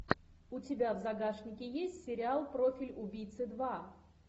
у тебя в загашнике есть сериал профиль убийцы два